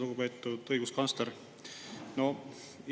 Lugupeetud õiguskantsler!